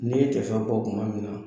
Ni tɛ fin fɔ kuma min na